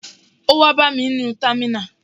Ó wá bá mi nínú támínà